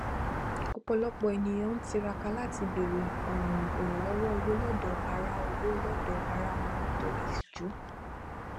ọpọlọpọ ènìyàn ń tiraka láti bèrè um ìrànlọwọ owó lọdọ ará owó lọdọ ará wọn nítorí ìtìjú